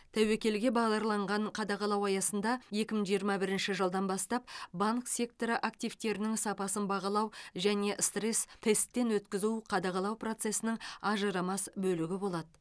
тәуекелге бағдарланған қадағалау аясында екі мың жиырма бірінші жылдан бастап банк секторы активтерінің сапасын бағалау және стресс тесттен өткізу қадағалау процесінің ажырамас бөлігі болады